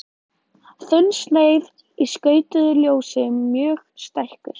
Þunnsneið í skautuðu ljósi mjög stækkuð.